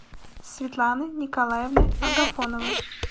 светланы николаевны агафоновой